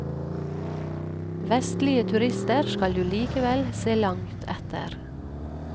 Vestlige turister skal du likevel se langt etter.